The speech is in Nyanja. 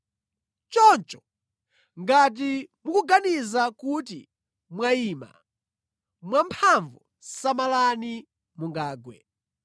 Choncho, ngati mukuganiza kuti mwayima mwamphamvu, samalani mungagwe!